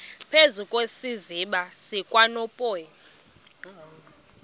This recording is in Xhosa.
phezu kwesiziba sikanophoyi